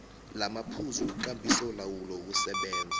lamaphuzu wekambisolawulo yokusebenza